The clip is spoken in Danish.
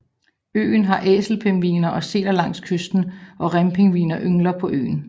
Øen har æselpingviner og sæler langs kysten og rempingviner yngler på øen